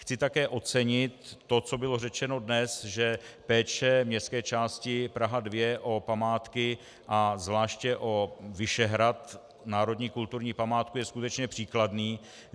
Chci také ocenit to, co bylo řečeno dnes, že péče městské části Praha 2 o památky a zvláště o Vyšehrad, národní kulturní památku, je skutečně příkladný.